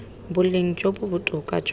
boleng jo bo botoka jwa